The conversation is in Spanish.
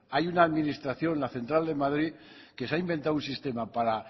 hay una administración la central de madrid que se ha inventado un sistema para